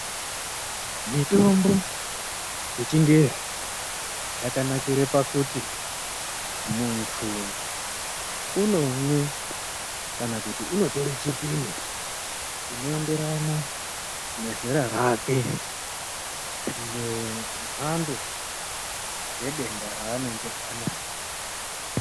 Mitombo yechingezi yakanakire pakuti muntu unomwe kana kuti unotore chipimo chinoenderana nezera rake nemhando yedenda raanenge anaro.